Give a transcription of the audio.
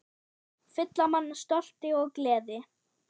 Fylla mann stolti og gleði.